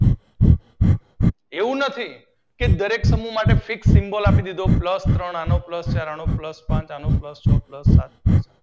એવું નથી કે દરેક સમૂહ માટે ફિક્સ સિમ્બોલ આપી દીશો. પ્લસ ત્રણ, પ્લસ ચારો, પ્લસ પાંચ, પ્લસ છ પ્લસ સાત